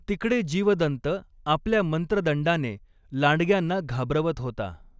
तिकडे जीवदन्त आपल्या मंत्रदंडाने लांडग्यांना घाबरवत होता.